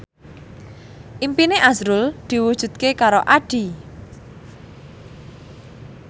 impine azrul diwujudke karo Addie